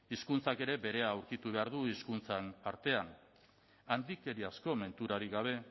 hizkuntzak ere berea aurkitu behar du hizkuntzen artean handikeriazko menturarik gabe